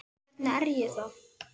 Hvernig er ég þá?